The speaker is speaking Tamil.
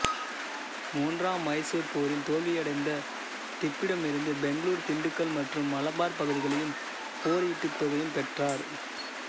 மூன்றாம் மைசூர் போரில் தோல்வியடைந்த திப்புவிடமிருந்து பெங்களூர் திண்டுக்கல் மற்றும் மலபார் பகுதிகளையும் போர் ஈட்டுத் தொகையும் பெற்றார்